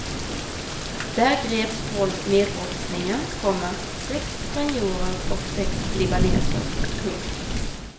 Där greps tolv medbrottslingar, komma sex spanjorer och sex libaneser. punkt